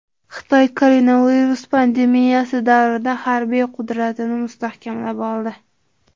Xitoy koronavirus pandemiyasi davrida harbiy qudratini mustahkamlab oldi.